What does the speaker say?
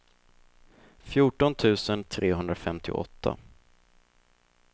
fjorton tusen trehundrafemtioåtta